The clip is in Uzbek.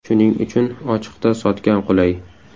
Shuning uchun ochiqda sotgan qulay.